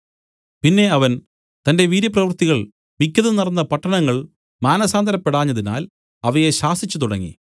പിന്നെ അവൻ തന്റെ വീര്യപ്രവൃത്തികൾ മിക്കതും നടന്ന പട്ടണങ്ങൾ മാനസാന്തരപ്പെടാഞ്ഞതിനാൽ അവയെ ശാസിച്ചുതുടങ്ങി